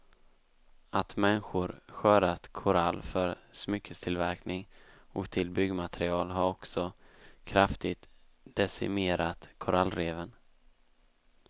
Att människor skördat korall för smycketillverkning och till byggmaterial har också kraftigt decimerat korallreven.